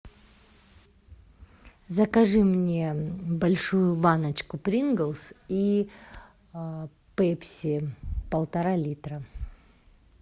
закажи мне большую баночку принглс и пепси полтора литра